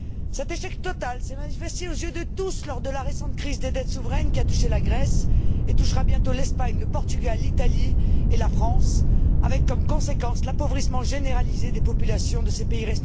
Cet échec total s'est manifesté aux yeux de tous lors de la récente crise des dettes souveraines qui a touché la Grèce et qui touchera bientôt l'Espagne, le Portugal, l'Italie et la France, avec comme conséquence l'appauvrissement généralisé des populations de ces pays.